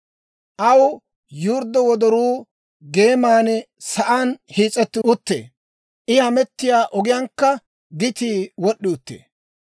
Aw yurddo wodoruu geeman sa'aan hiis'etti uttee; I hamettiyaa ogiyaankka gitii wod'd'i uttee.